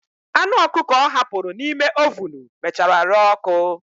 Anụ ọkụkọ ọ hapụrụ n'ime ovunu mechara ree ọ́kụ́.